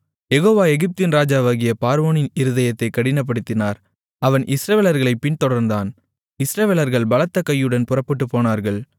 யெகோவா எகிப்தின் ராஜாவாகிய பார்வோனின் இருதயத்தைக் கடினப்படுத்தினார் அவன் இஸ்ரவேலர்களைப் பின்தொடர்ந்தான் இஸ்ரவேலர்கள் பலத்த கையுடன் புறப்பட்டுப் போனார்கள்